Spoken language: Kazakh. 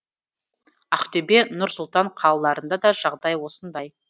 ақтөбе нұр сұлтан қалаларында да жағдай осындай